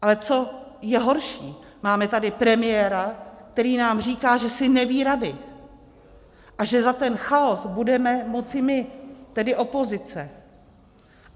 Ale co je horší, máme tady premiéra, který nám říká, že si neví rady a že za ten chaos budeme moci my, tedy opozice.